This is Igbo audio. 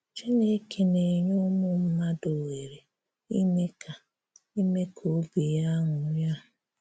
Chinekè na-enyè ụmụ mmadụ ohere ime ka ime ka obi ya ṅụ́rịa.